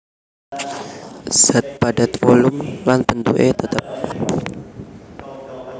Zat Padat volum lan bentuké tetep